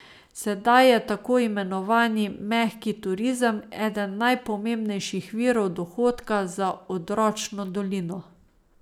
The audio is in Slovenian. Sedaj je tako imenovani mehki turizem eden najpomembnejših virov dohodka za odročno dolino.